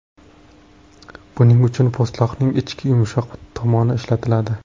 Buning uchun po‘stloqning ichki yumshoq tomoni ishlatiladi.